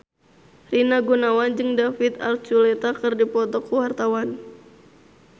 Rina Gunawan jeung David Archuletta keur dipoto ku wartawan